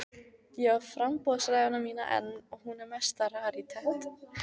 Ég á framboðsræðuna mína enn og hún er mesta rarítet.